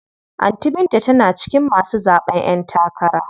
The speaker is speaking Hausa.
Anty binta tana cikin masu zaɓen ƴen takara.